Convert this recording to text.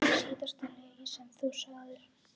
Síðasta lygi sem þú sagðir?